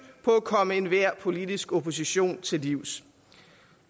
på at komme enhver politisk opposition til livs